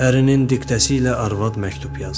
Ərinin diktəsi ilə arvad məktub yazdı.